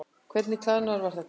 Hvernig klæðnaður var þetta?